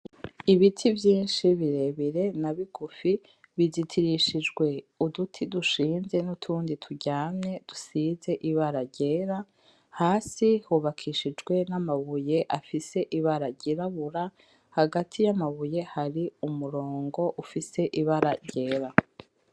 Ibiti vyinshi birebire na bigufi. Bizitirishijwe uduti dushinze n'utundi turyamye dusize ibara ryera. Hasi hubakishijwe n'amabuye afise ibara ryirabura. Hagati y'amabuye hari umurongo ufise ibara ryera.